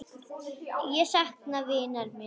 Ég sakna vinar míns.